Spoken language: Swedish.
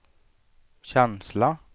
känsla